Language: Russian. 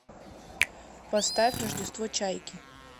поставь рождество чайки